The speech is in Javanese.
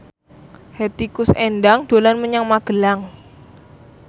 Hetty Koes Endang dolan menyang Magelang